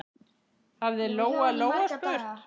hafði Lóa-Lóa spurt.